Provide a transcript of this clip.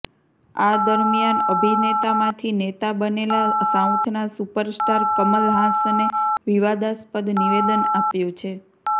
આ દરમિયાન અભિનેતામાંથી નેતા બનેલા સાઉથના સુપર સ્ટાર કમલ હાસને વિવાદાસ્પદ નિવેદન આપ્યું છે